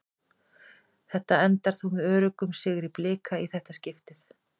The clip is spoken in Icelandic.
Þetta endar þó með öruggum sigri Blika í þetta skiptið.